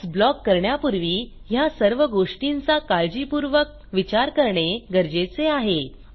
ADS block करण्यापूर्वी ह्या सर्व गोष्टींचा काळजीपूर्वक विचार करणे गरजेचे आहे